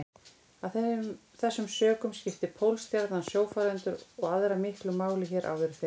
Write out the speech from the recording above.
Af þessum sökum skipti Pólstjarnan sjófarendur og aðra miklu máli hér áður fyrr.